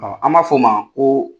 an m'a fɔ o ma ko